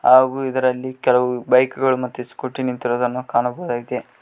ಹಾಗೂ ಇದರಲ್ಲಿ ಕೆಲವು ಬೈಕ್ ಗಳು ಮತ್ತೆ ಸ್ಕೂಟಿ ನಿಂತಿರುವುದನ್ನು ಕಾಣಬಹುದಾಗಿದೆ.